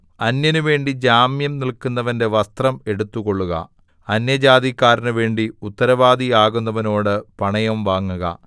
അന്യനുവേണ്ടി ജാമ്യം നില്‍ക്കുന്നവന്‍റെ വസ്ത്രം എടുത്തുകൊൾക അന്യജാതിക്കാരനുവേണ്ടി ഉത്തരവാദി ആകുന്നവനോട് പണയം വാങ്ങുക